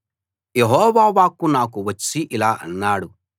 యెహోవా వాక్కు నాకు వచ్చి ఇలా అన్నాడు